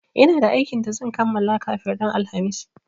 Ina da aikin da zan kamala kafin ran alhamis